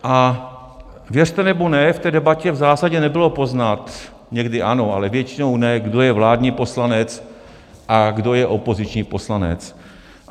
A věřte nebo ne, v té debatě v zásadě nebylo poznat, někdy ano, ale většinou ne, kdo je vládní poslanec a kdo je opoziční poslanec.